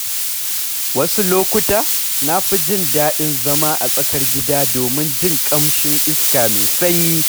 Wasu lokuta, na fi jin daɗin zama a tsakar gida domin jin ƙamshin iska mai sanyi.